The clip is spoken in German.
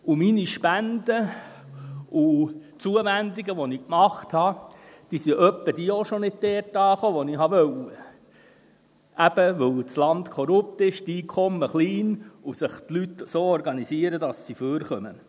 Meine Spenden und Zuwendungen, die ich getätigt habe, kamen ab und zu auch nicht dort an, wo ich wollte, weil das Land eben korrupt ist, die Einkommen klein sind, und sich die Leute so organisieren, dass sie überleben.